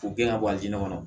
K'u gɛn ŋa bɔ a ju kɔnɔ